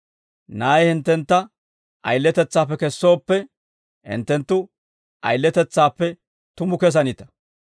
Na'ay hinttentta ayiletetsaappe kesooppe, hinttenttu ayiletetsaappe tumu kessanita.